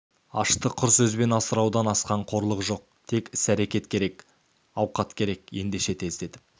ашты құр сөзбен асыраудан асқан қорлық жоқ тек іс керек әрекет керек ауқат керек ендеше тездетіп